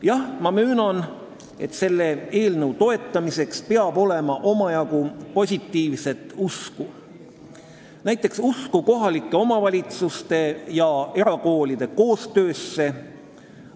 Jah, ma möönan, et selle eelnõu toetamiseks peab olema omajagu positiivset usku, näiteks usku kohalike omavalitsuste ja erakoolide koostöösse.